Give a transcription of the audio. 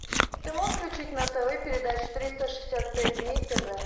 ты можешь включить на тв передачу триста шестьдесят пять дней тв